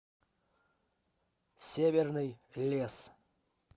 северный лес